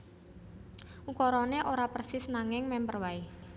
Ukarané ora persis nanging mèmper waé